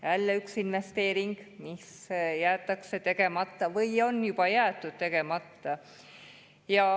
Jälle üks investeering, mis jäetakse tegemata või on juba jäetud tegemata.